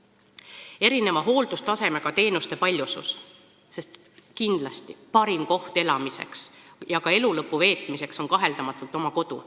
Esiteks, erineva hooldustasemega teenuste paljusus, sest kindlasti on parim koht elamiseks ja ka elu lõpu veetmiseks kaheldamatult oma kodu.